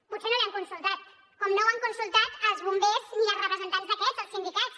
potser no l’hi han consultat com no ho han consultat als bombers ni als representants d’aquests els sindicats